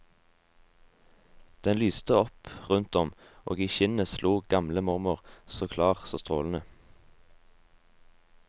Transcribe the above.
Den lyste opp rundt om, og i skinnet sto gamle mormor, så klar, så strålende.